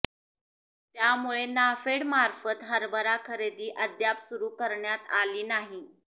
त्यामुळे नाफेडमार्फत हरभरा खरेदी अद्याप सुरू करण्यात आली नाही